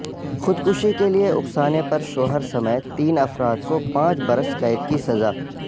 خودکشی کے لئے اکسانے پر شوہر سمیت تین افراد کو پانچ برس قید کی سزا